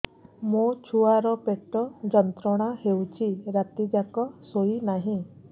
ମୋ ଛୁଆର ପେଟ ଯନ୍ତ୍ରଣା ହେଉଛି ରାତି ଯାକ ଶୋଇନାହିଁ